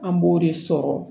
An b'o de sɔrɔ